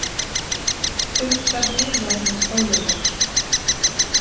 Uppsögn yfirlæknis ólögleg